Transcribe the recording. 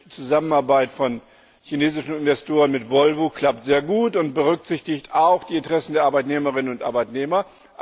klappt die Zusammenarbeit von chinesischen Investoren mit Volvo sehr gut und berücksichtigt auch die Interessen der Arbeitnehmerinnen und Arbeitnehmer.